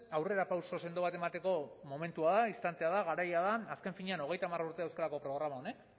aurrerapauso sendo bat emateko momentua da instantea da garaia da azken finean hogeita hamar urte dauzka programa honek